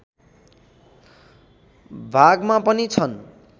भागमा पनि छन्